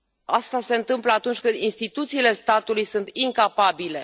Asta se întâmplă atunci când instituțiile statului sunt incapabile.